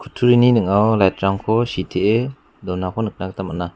kutturini ning·ao lait rangko sitee donako nikna gita man·a.